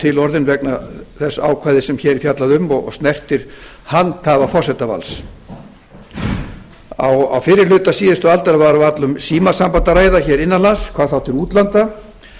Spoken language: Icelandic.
til orðin vegna þess ákvæðis sem hér er fjallað um og snertir handhafa forsetavalds á fyrri hluta síðustu aldar var varla um símasamband að ræða innan lands hvað þá til útlanda